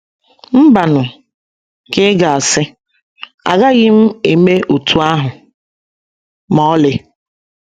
“ Mbanụ, ” ka ị ga - asị, “ agaghị m eme otú ahụ ma ọlị!